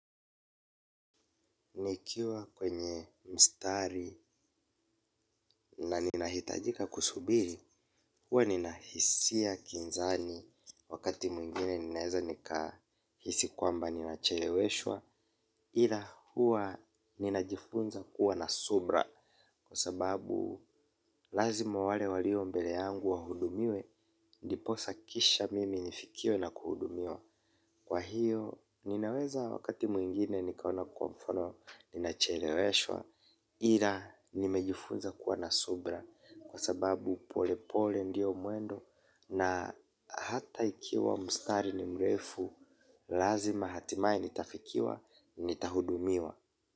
Nikiwa kwenye mstari na nina hitajika kusubiri, huwa nina hisia kinzani wakati mwingine ninaweza nika hisi kwamba nina cheleweshwa ila huwa nina jifunza kuwa na subra kwasababu lazima wale walio mbele yangu wahudumiwe niposa kisha mimi nifikiwe na kuhudumiwa. Kwa hiyo, ninaweza wakati mwingine nikaona kwa mfano, nina cheleweshwa, ila nimejifunza kuwa na subra kwa sababu pole pole ndio mwendo na hata ikiwa mstari ni mrefu, lazima hatimaye nitafikiwa, nita hudumiwa.